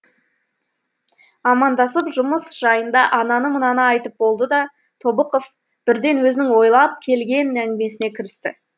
амандасып жұмыс жайында ананы мынаны айтып болды да тобықов бірден өзінің ойлап келген әңгімесіне кірісті